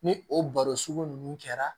Ni o baro sugu ninnu kɛra